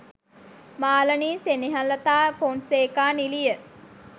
Malani Senehelatha Fonseka නිළිය